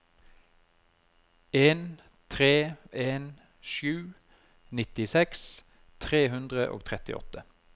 en tre en sju nittiseks tre hundre og trettiåtte